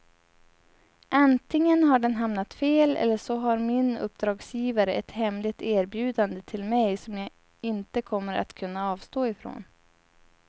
Antingen har den hamnat fel eller så har min uppdragsgivare ett hemligt erbjudande till mig som jag inte kommer att kunna avstå ifrån.